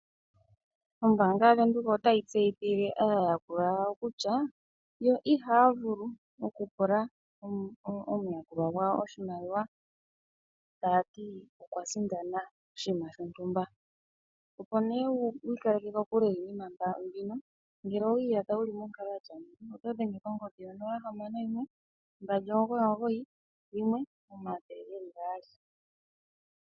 Ombaanga yavenduka otayi tseyithile aayakulwa yawo kutya yo ihaya vulu okupula omuyakulwa gwawo oshimaliwa taya ti okwa sindana oshinima shontumba. Opo nee wiikaleke kokule niinima mbino ngele owiiyadha wuli monkalo yatya ngeyi oto dhenge kongodhi yonola hamano mbali omugoyi omugoyi yimwe omathele geli gaali.